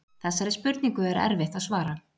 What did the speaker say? Þessari spurningu er erfitt að svara.